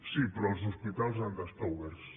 sí però els hospitals han d’estar oberts